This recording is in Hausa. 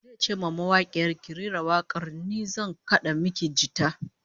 Zai ce wa mawakiyar, "Ki rera wak'ar, ni zan kad'a miki jita".